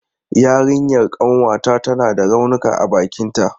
Yarinyan ƙanwata tana da raunuka a bakinta.